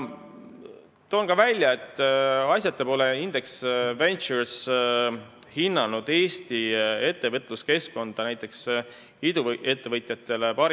Toon ka välja, et asjata pole Index Ventures hinnanud Eesti ettevõtluskeskkonda maailma parimaks näiteks iduettevõtjatele.